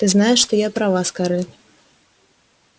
ты знаешь что я права скарлетт